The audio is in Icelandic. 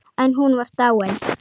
En hún var dáin.